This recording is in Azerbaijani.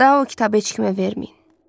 Daha o kitabı heç kimə verməyin.